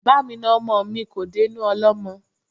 Bámi na ọmọ mi, kò dénú ọlọ́mọ